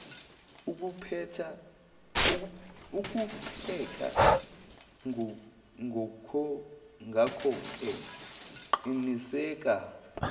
ukupheka ngakhoke qiniseka